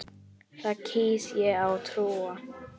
Því kýs ég að trúa.